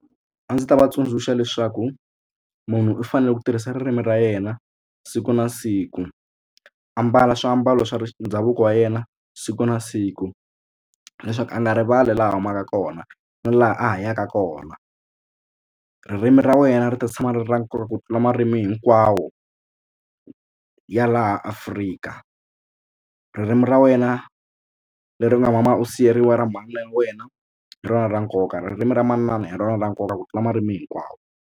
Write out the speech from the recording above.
A ndzi ta va tsundzuxa leswaku munhu u fanele ku tirhisa ririmi ra yena siku na siku a mbala swiambalo swa ndhavuko wa yena siku na siku leswaku a nga rivali laha a humaka kona na laha a yaka kona. Ririmi ra wena ri ta tshama ri ri ra nkoka ku tlula marimi hinkwawo ya laha Afrika. Ririmi ra wena leri u nga mama u siveriwa ra manana ya wena hi rona ra nkoka ririmi ra manana hi rona ra nkoka ku tlula marimi hinkwawo.